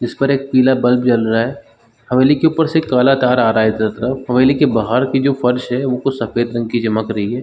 इस पर एक पीला बल्ब जल रहा है हवेली के ऊपर से एक काला तार आ रहा है हवेली के बाहर की फर्श है वह सफ़ेद रंग की चमक रही है।